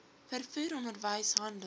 vervoer onderwys handel